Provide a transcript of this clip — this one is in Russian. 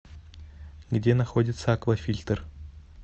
где находится аквафильтр